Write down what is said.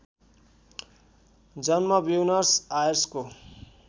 जन्म ब्युनर्स आयर्सको